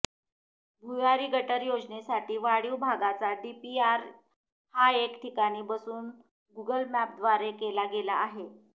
भुयारी गटर योजनेसाठी वाढीव भागाचा डीपीआर हा एका ठिकाणी बसून गुगल मॅपद्वारे केला गेला आहे